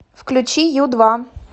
включи ю два